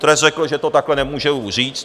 Trest řekl, že to takhle nemůžu už říct.